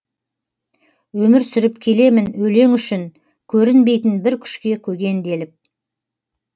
өмір сүріп келемін өлең үшін көрінбейтін бір күшке көгенделіп